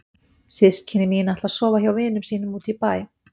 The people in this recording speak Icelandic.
Systkini mín ætla að sofa hjá vinum sínum úti í bæ.